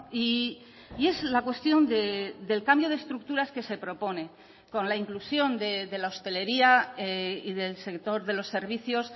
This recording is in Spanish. y es la cuestión del cambio de estructuras que se propone con la inclusión de la hostelería y del sector de los servicios